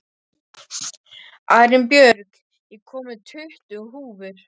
Arinbjörg, ég kom með tuttugu húfur!